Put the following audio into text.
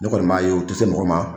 Ne kɔni m'a ye u tɛ se mɔgɔ ma.